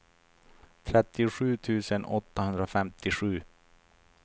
trettiosju tusen åttahundrafemtiosju